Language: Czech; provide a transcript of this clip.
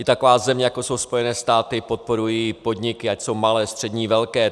I taková země, jako jsou Spojené státy, podporuje podniky, ať jsou malé, střední, velké.